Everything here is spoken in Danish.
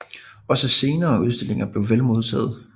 Også senere udstillinger blev vel modtaget